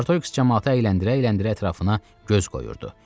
Artoriks camaatı əyləndirə-əyləndirə ətrafına göz qoyurdu.